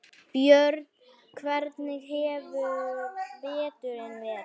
Björn: Hvernig hefur veturinn verið?